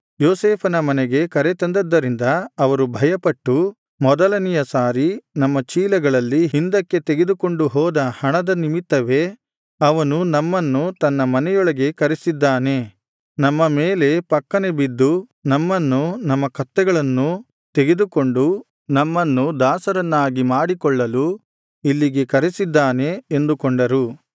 ಯೋಸೇಫನ ಮನೆಗೆ ಕರೆತಂದದ್ದರಿಂದ ಅವರು ಭಯಪಟ್ಟು ಮೊದಲನೆಯ ಸಾರಿ ನಮ್ಮ ಚೀಲಗಳಲ್ಲಿ ಹಿಂದಕ್ಕೆ ತೆಗೆದುಕೊಂಡು ಹೋದ ಹಣದ ನಿಮಿತ್ತವೇ ಅವನು ನಮ್ಮನ್ನು ತನ್ನ ಮನೆಯೊಳಗೆ ಕರೆಸಿದ್ದಾನೆ ನಮ್ಮ ಮೇಲೆ ಫಕ್ಕನೆ ಬಿದ್ದು ನಮ್ಮನ್ನೂ ನಮ್ಮ ಕತ್ತೆಗಳನ್ನೂ ತೆಗೆದುಕೊಂಡು ನಮ್ಮನ್ನು ದಾಸರನ್ನಾಗಿ ಮಾಡಿಕೊಳ್ಳಲು ಇಲ್ಲಿಗೆ ಕರೆಸಿದ್ದಾನೆ ಎಂದುಕೊಂಡರು